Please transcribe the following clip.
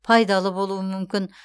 пайдалы болуы мүмкін